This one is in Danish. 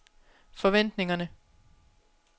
forventningerne